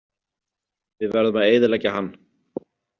Við verðum að eyðileggja hann.